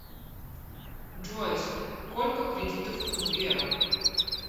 джой сколько кредитов у сбера